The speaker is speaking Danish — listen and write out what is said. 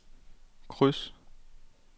kryds